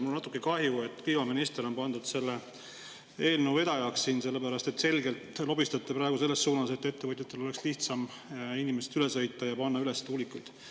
Mul on natuke kahju, et kliimaminister on pandud eelnõu vedajaks, sellepärast et te selgelt lobistate praegu selles suunas, et ettevõtjatel oleks lihtsam inimestest üle sõita ja panna üles tuulikuid.